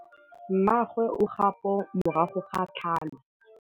Mmagwe o kgapô morago ga tlhalô.